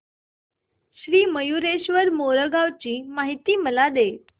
श्री मयूरेश्वर मोरगाव ची मला माहिती दे